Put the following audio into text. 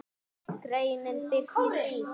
Greinin birtist í